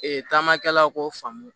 Ee taamakɛlaw k'o faamu